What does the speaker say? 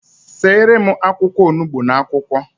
Seere m akwụkwọ onugbu n'akwukwo